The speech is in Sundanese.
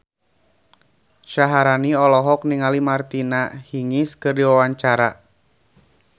Syaharani olohok ningali Martina Hingis keur diwawancara